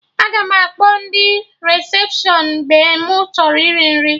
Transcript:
Aga m akpọ ndị resepshọn mgbe mụ chọrọ iri nri